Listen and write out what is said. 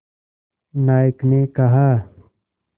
नायक ने कहा